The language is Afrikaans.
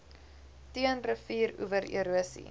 teen rivieroewer erosie